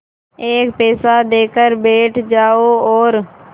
एक पैसा देकर बैठ जाओ और